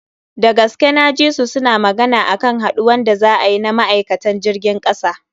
Dagaske na ji su suna magana akan haduwan da za a yi na ma'aikatan jirgin kasa.